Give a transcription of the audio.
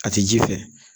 A ti ji fɛ